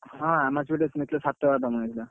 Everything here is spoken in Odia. ହଁ Anchor ଟା ନେଇଥିଲା ସାତ ହଜାର ଟଙ୍କା ନେଇଥିଲା।